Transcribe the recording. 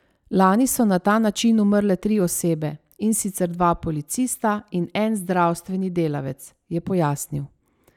Lani so na ta način umrle tri osebe, in sicer dva policista in en zdravstveni delavec, je pojasnil.